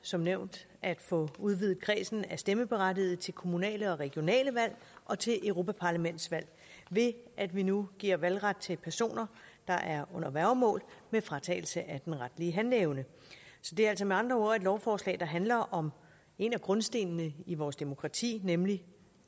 som nævnt at få udvidet kredsen af stemmeberettigede til kommunale og regionale valg og til europaparlamentsvalg ved at vi nu giver valgret til personer der er under værgemål med fratagelse af den retlige handleevne så det er altså med andre ord et lovforslag der handler om en af grundstenene i vores demokrati nemlig